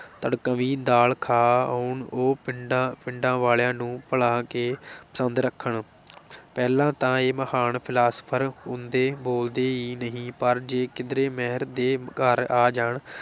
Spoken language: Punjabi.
ਤੜਕਵੀਂ ਦਾਲ ਖਾ ਆਉਣ, ਉਹ ਪਿੰਡਾਂ ਪਿੰਡਾਂ ਵਾਲਿਆਂ ਨੂੰ ਭਲਾ ਕਿ ਪਸੰਦ ਰੱਖਣ ਪਹਿਲਾਂ ਤਾਂ ਇਹ ਮਹਾਨ ਫਿਲਾਸਫਰ ਕੂੰਦੇ ਬੋਲਦੇ ਈ ਨਹੀਂ, ਪਰ ਜੇ ਕਿਧਰੇ ਮਿਹਰ ਦੇ ਘਰ ਆ ਜਾਣ